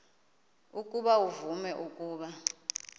ukuba uvume ukuba